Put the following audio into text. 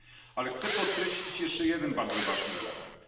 Ale chcę podkreślić jeszcze jeden bardzo ważny element.